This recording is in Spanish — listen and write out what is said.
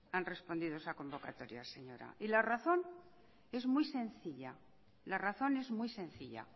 han respondido esa convocatoria señora y la razón es muy sencilla